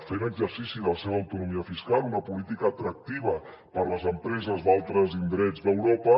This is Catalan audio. fent exercici de la seva autonomia fiscal una política atractiva per a les empreses d’altres indrets d’europa